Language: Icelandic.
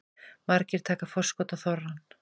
Margir taka forskot á þorrann